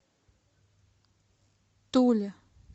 туле